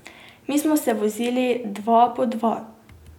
Mi smo se vozili dva po dva.